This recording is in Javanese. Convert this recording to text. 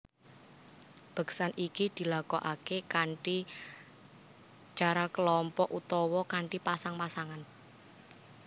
Beksan iki dilakokake kanthi cara kelompok utawa kanthi pasang pasangan